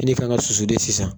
Fini ka kan ka susu de sisan